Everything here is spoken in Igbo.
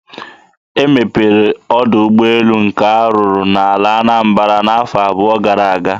E mepere ọdọ ụgbọelu nke a rụrụ na Anambara n'afọ abụọ gara aga.